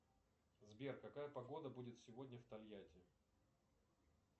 сбер какая погода будет сегодня в тольятти